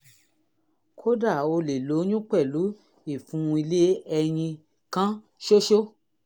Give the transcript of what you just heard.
kódà o lè lóyún pẹ̀lú ìfun ilé ẹyin kan ṣoṣo